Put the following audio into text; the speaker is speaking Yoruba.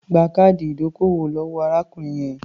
Gba káàdì ìdókòwò lọ́wọ́ arákùnrin yẹn.